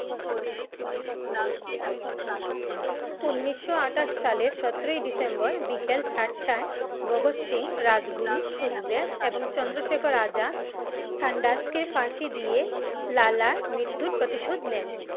উন্নিশো আঠাশ সালে সতেরোই ডিসেম্বর বিকেল চারটায় ভাগত সিং, রাজগুরু, সুখদেব, এবং চন্দ্রশেখর আজাদ Saunders কে ফাঁসি দিয়ে লালার মৃত্যুর পরিশোধ লেন ।